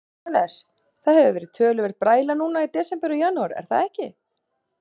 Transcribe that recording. Jóhannes: Það hefur verið töluverð bræla núna í desember og janúar, er það ekki?